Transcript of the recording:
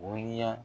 O ni ya